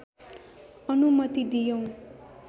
अनुमति दियौं